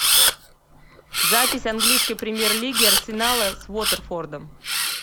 запись английской премьер лиги арсенала с уотерфордом